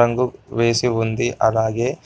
రంగు వేసి ఉంది అలాగే--